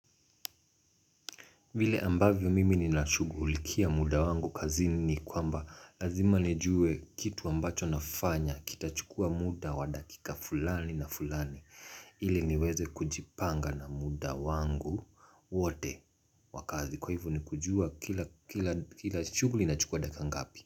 Vile ambavyo mimi nina shughulikia muda wangu kazini ni kwamba lazima nijue kitu ambacho nafanya kitachukua muda wa dakika fulani na fulani ili niweze kujipanga na muda wangu wote wa kazi kwa hivyo nikujua kila shughuli inachukua dakika ngapi.